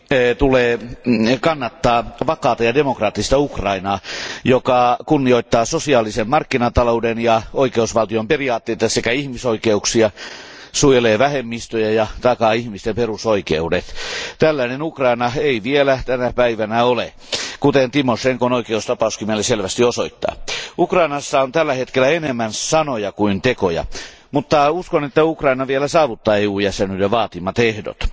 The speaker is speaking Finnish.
Arvoisa puhemies, Euroopan unionin tulee kannattaa vakaata ja demokraattista Ukrainaa, joka kunnioittaa sosiaalisen markkinatalouden ja oikeusvaltion periaatteita sekä ihmisoikeuksia, suojelee vähemmistöjä ja takaa ihmisten perusoikeudet. Tällainen Ukraina ei vielä tänä päivänä ole, kuten Tymošenkon tapaus meille selvästi osoittaa. Ukrainassa on tällä hetkellä enemmän sanoja kuin tekoja, mutta uskon, että Ukraina vielä saavuttaa EU jäsenyyden vaatimat ehdot.